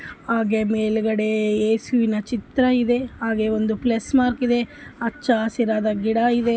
ಹಾಗೇ ಮೇಲ್ಗಡೆ ಯೇಸುವಿನ ಚಿತ್ರವಿದೆ ಹಾಗೆ ಒಂದು ಪ್ಲಸ್ ಮಾರ್ಕ್ ಇದೆ ಹಚ್ಚ ಹಸಿರಾದ ಗಿಡ ಇವೆ